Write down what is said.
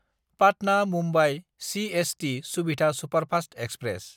Patna-Mumbai CST सुबिधा superfast express